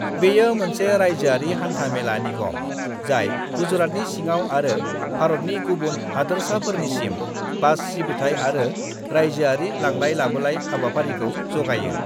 बेयो मोनसे रायजोआरि हान्था-मेला निगम जाय गुजरातनि सिङाव आरो भारतनि गुबुन हादोरसाफोरनिसिम बास सिबिथाय आरो रायजोआरि लांलाय-लाबोलाय हाबाफारिखौ जगायो।